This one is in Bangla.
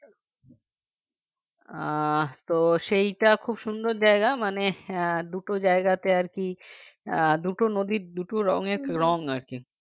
আহ তো সেইটা খুব সুন্দর জায়গা মানে আহ দুটো জায়গাতে আরকি আহ দুটো নদীর দুটো রঙের রং আরকি